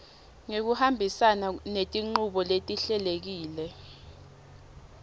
ngekuhambisana netinchubo letihlelekile